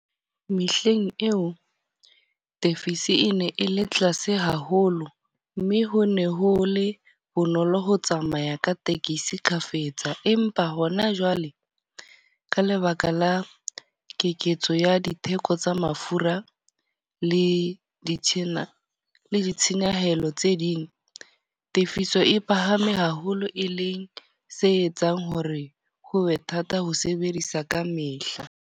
Mehleng eo, tefiso e ne e le tlase haholo. Mme ho ne ho le bonolo ho tsamaya ka tekesi kgafetsa. Empa hona jwale, ka lebaka la keketso ya ditheko tsa mafura le di tjhena le ditshenyehelo tse ding. Tefiso e phahame haholo, e le se etsang hore ho be thata ho sebedisa ka mehla.